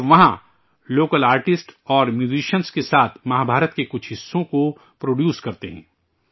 اور وہاں local artist اور میوزیشین کے ساتھ مہابھارت کے کچھ حصوں کو پرڈیوس کرتے ہیں